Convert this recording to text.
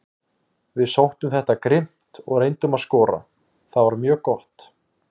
Við sóttum þetta grimmt og reyndum að skora, það var mjög gott.